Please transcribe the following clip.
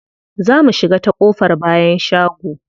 Za mu shiga ta ƙofar bayan shago.